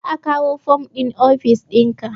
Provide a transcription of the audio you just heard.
Za a kawo fom ɗin ofis ɗinka